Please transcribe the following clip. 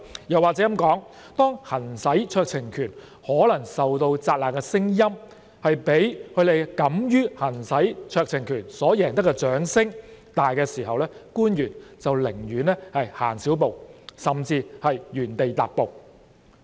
又或說，當行使酌情權可能受到責難的聲音，蓋過他們敢於行使酌情權所贏得的掌聲時，官員便寧願走少一步，甚至原地踏步。